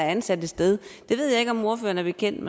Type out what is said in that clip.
ansat et sted det ved jeg ikke om ordføreren er bekendt